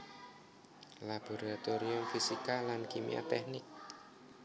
Laboratorium Fisika lan Kimia Teknik